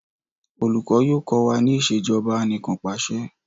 olùkó yóò ko wa ní Ìṣèjọba Anìkanpàṣẹ